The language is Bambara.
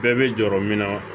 Bɛɛ bɛ jɔrɔ min na